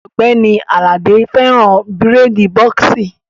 Ògbẹ́ni Àlàdé fẹ́ràn bírèèdì bọ́ọ̀ksì